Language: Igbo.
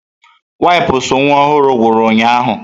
Wipụsụ nwa ọhụrụ ngwuru ụnyahụ.